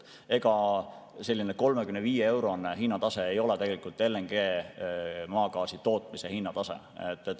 Ega selline 35‑eurone hinnatase ei ole LNG, maagaasi tootmise hinnatase.